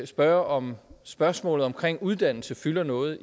spørge om spørgsmål omkring uddannelse fylder noget